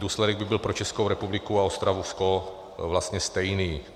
Důsledek by byl pro Českou republiku a Ostravsko vlastně stejný.